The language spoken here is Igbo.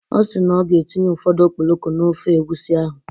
Ọ si na ọ ga-etinye ụfọdụ okporoko n'ofe egwusi ahụ.